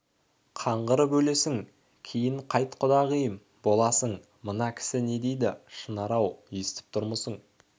қаңғырып өлесің кейін қайт құдағиым боласың мына кісі не дейді шынар-ау естіп тұрмысың